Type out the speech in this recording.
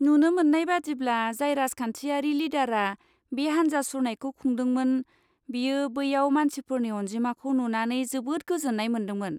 नुनो मोन्नाय बादिब्ला, जाय राजखान्थियारि लिडारा बे हानजा सुरनायखौ खुंदोंमोन, बियो बैयाव मानसिफोरनि अनजिमाखौ नुनानै जोबोद गोजोन्नाय मोनदोंमोन।